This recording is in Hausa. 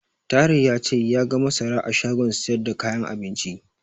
Tahir ya ce ya ga masara a shagon siyar da kayan abinci.